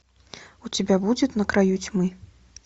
у тебя будет на краю тьмы